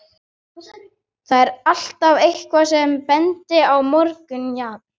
Þar er alltaf EITTHVAÐ sem bendir á morðingjann.